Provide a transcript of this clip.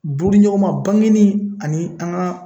Buruɲɔgɔnma, bangenni ani an ga